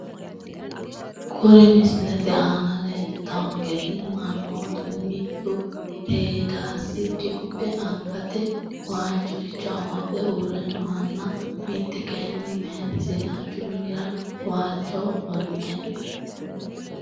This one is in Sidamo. Kuri misilete aana lelitawonkeri manootu mittu teedasi diphe angate waajoricho amaxxe uure noohana mite kayini mayiti sidaanchu minira waalchoho ofolte no.